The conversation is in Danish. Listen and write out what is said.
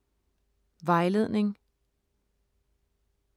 Vejledning: